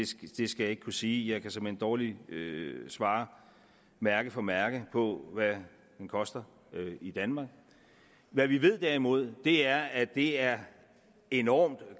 skal jeg ikke kunne sige jeg kan såmænd dårligt svare mærke for mærke på hvad den koster i danmark hvad vi derimod er at det er enormt